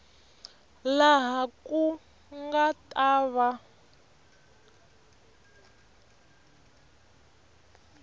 laha ku nga ta va